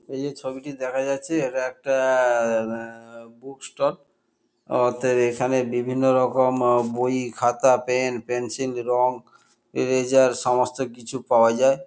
এই যে ছবিটি দেখা যাচ্ছে এটা একটা আ- বুক ষ্টল অতএব এখানে বিভিন্নরকম আ বই খাতা পেন পেন্সিল রঙ ইরেসার সমস্ত কিছু পাওয়া যায়।